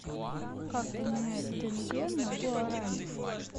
как поменять тенге на гуарани